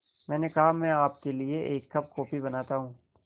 मैंने कहा मैं आपके लिए एक कप कॉफ़ी बनाता हूँ